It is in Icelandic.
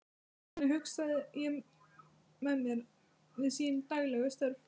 Þannig hugsaði ég mér hann við sín daglegu störf.